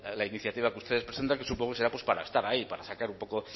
la iniciativa que ustedes presentan que supongo que será pues para estar ahí para sacar un poco